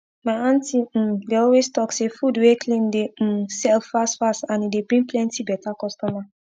my auntie um dey always talk say food wey clean dey um sell fast fast and e dey bring plenty beta customer